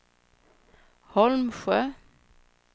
Holmsjö